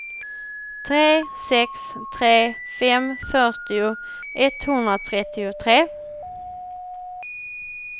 tre sex tre fem fyrtio etthundratrettiotre